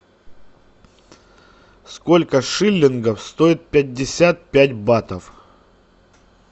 сколько шиллингов стоит пятьдесят пять батов